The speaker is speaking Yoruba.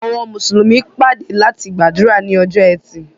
Àwọn Mùsùlùmí pàdé láti gbàdúrà ni ọjọ́ ẹti.